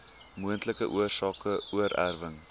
moontlike oorsake oorerwing